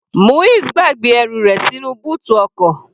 Muiz gbàgbé ẹrù rẹ̀ sínú bóòtù ọkọ̀.